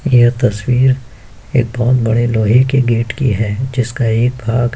ये तस्वीर एक बहोत बड़े लोहे के गेट की है जिसका एक भाग --